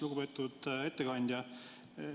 Lugupeetud ettekandja!